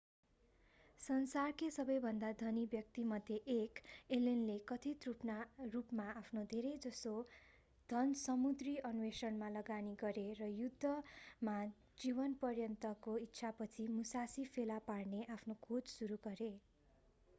संसारकै सबैभन्दा धनी व्यक्तिमध्ये एक एलेनले कथित रूपमा आफ्नो धेरैजसो धन समुद्री अन्वेषणमा लगानी गरे र युद्धमा जीवनपर्यन्तको इच्छापछि मुसासी फेला पार्ने आफ्नो खोज सुरु गरे